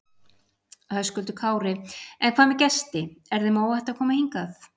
Höskuldur Kári: En hvað með gesti, er þeim óhætt að koma hingað?